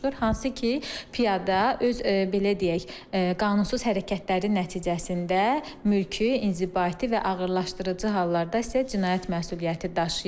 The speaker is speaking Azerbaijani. Hansı ki, piyada öz belə deyək, qanunsuz hərəkətləri nəticəsində mülki, inzibati və ağırlaşdırıcı hallarda isə cinayət məsuliyyəti daşıyır.